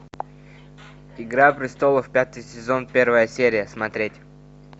игра престолов пятый сезон первая серия смотреть